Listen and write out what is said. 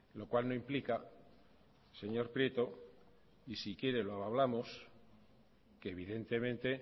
lo cual no implica señor prieto y si quiere lo hablamos que evidentemente